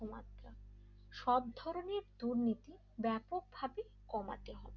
সবধরনের দুর্নীতি ব্যাপকভাবে কমাতে হবে।